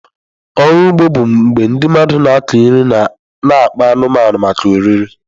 Ọrụ ugbo bụ mgbe ndị mmadụ na-akụ nri na akpa anụmanụ maka oriri.